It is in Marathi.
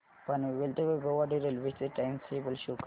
पनवेल ते वैभववाडी रेल्वे चे टाइम टेबल शो करा